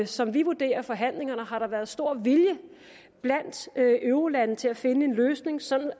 som vi vurderer forhandlingerne har der været stor vilje blandt eurolandene til at finde en løsning så